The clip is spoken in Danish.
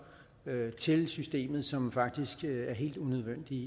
til systemet som faktisk er helt unødvendige